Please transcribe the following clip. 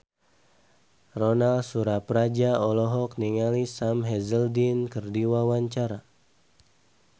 Ronal Surapradja olohok ningali Sam Hazeldine keur diwawancara